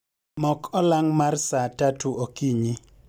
Mok olang' mar saa tatu okinyi